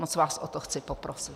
Moc vás o to chci poprosit.